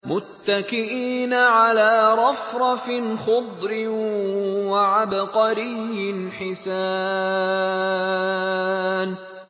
مُتَّكِئِينَ عَلَىٰ رَفْرَفٍ خُضْرٍ وَعَبْقَرِيٍّ حِسَانٍ